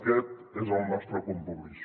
aquest és el nostre compromís